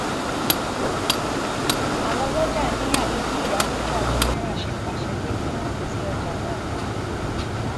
àwọn ọlọjà ni àfi bí iyálójà general ṣe pàṣẹ pé kí wọn ti ọjà náà pa